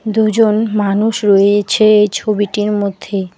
দুজন মানুষ রয়েইছে এই ছবিটির মধ্যে।